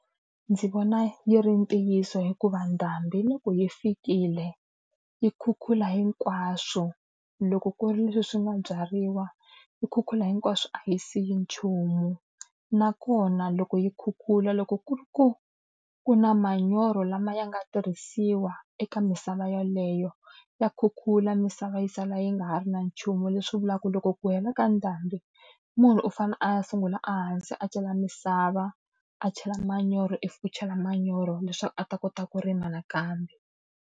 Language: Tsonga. Ndzi vona yi ri ntiyiso hikuva ndhambiloko yi fikile, yi khukhula hinkwaswo. Loko ku ri leswi swi nga byariwa, yi khukhula hinkwaswo a yi siyi nchumu. Nakona loko yi khukhula loko ku ri ku ku na manyoro lama ya nga tirhisiwa eka misava yeleyo, ya khukhula misava yi sala yi nga ha ri na nchumu. Leswi vulaka ku loko ku hela ka ndhambi munhu u fanele a ya sungula ehansi a cela misava, a chela manyoro if u chela manyoro, leswaku a ta kota ku rima nakambe.